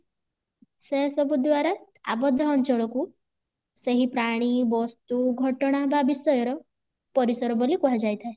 ସେ ସବୁ ଦ୍ଵାରା ଆବଦ୍ଧ ଅଞ୍ଚଳକୁ ସେହି ପ୍ରାଣୀ ବସ୍ତୁ ଘଟଣା ବା ବିଷୟର ପରିସର ବୋଲି କୁହାଯାଇ ଥାଏ